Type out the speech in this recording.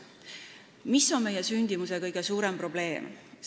Mis on meie sündimuse kõige suurem probleem?